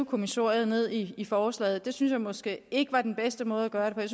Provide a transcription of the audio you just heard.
kommissoriet ned i forslaget og det synes jeg måske ikke var den bedste måde at gøre det